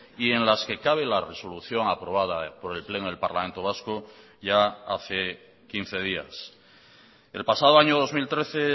y en las que cabe la resolución aprobada por el pleno del parlamento vasco ya hace quince días el pasado año dos mil trece